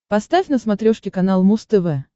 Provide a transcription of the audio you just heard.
поставь на смотрешке канал муз тв